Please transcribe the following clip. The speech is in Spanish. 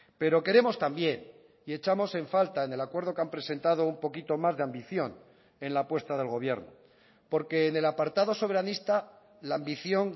pero queremos también y echamos en falta en el acuerdo que han presentado un poquito más de ambición en la apuesta del gobierno porque en el apartado soberanista la ambición